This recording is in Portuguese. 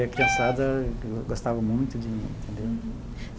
E a criançada gostava muito de mim, entendeu?